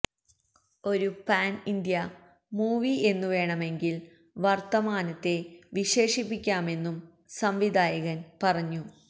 ഒരു pan India movie എന്നു വേണമെങ്കില് വര്ത്തമാനത്തെ വിശേഷിപ്പിക്കാമെന്നും സംവിധായകന് പറഞ്ഞു